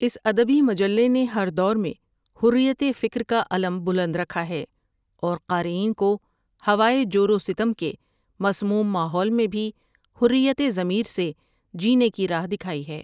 اس ادبی مجلے نے ہر دور میں حریت فکر کا علم بلند رکھا ہے اور قارئین کو ہوائے جو رو ستم کے مسموم ماحول میں بھی حریت ضمیر سے جینے کی راہ دکھائی ہے۔